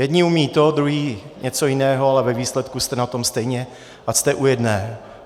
Jedni umí to, druzí něco jiného, ale ve výsledku jste na tom stejně, ať jste u jedné.